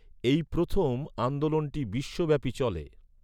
এই প্রথম আন্দোলনটি বিশ্বব্যাপী চলে।